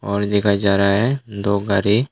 और देखा जा रहा है दो गाड़ी--